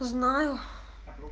знаю